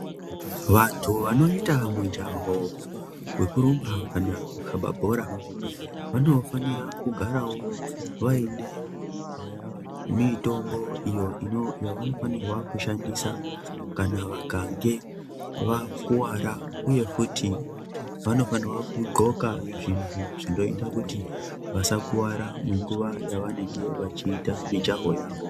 Vanthu vanoita mujaho wekurumba kana kukhaba bhora vanofanira kugarawo vaine mitombo iyo inonofanirwa shandisa kana vakange vakuvara uye futi vanofanira kugqoka zvinoita kuti vasakuvara munguva yavanenge vachiita mijaho yavo.